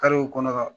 Karew kɔnɔ ka